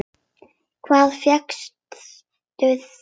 Hvar fékkstu þau?